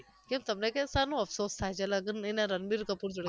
તે તમને કેમ શાનો અફસોસ થાય છે લગન એના રણબીર કપૂર જોડે